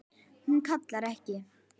Hún kallar ekki